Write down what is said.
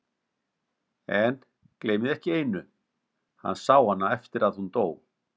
En, gleymið ekki einu: hann sá hana eftir að hún dó.